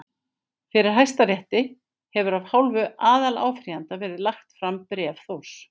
Fyrir Hæstarétti hefur af hálfu aðaláfrýjanda verið lagt fram bréf Þórs